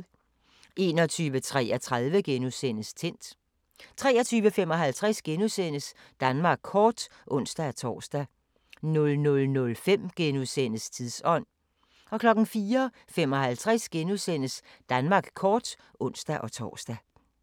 21:33: Tændt * 23:55: Danmark kort *(ons-tor) 00:05: Tidsånd * 04:55: Danmark kort *(ons-tor)